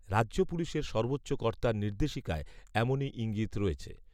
রাজ্য পুলিশের সর্বোচ্চ কর্তার নির্দেশিকায় এমনই ঈঙ্গিত রয়েছে